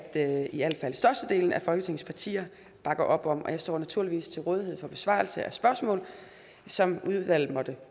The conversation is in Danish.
at i al fald størstedelen af folketings partier bakker op om jeg står naturligvis til rådighed for besvarelse af de spørgsmål som udvalget måtte